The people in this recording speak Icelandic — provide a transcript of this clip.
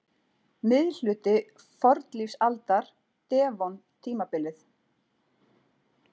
Miðhluti fornlífsaldar- devon-tímabilið.